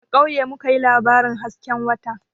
A kauye mu ka yi labarin hasken wata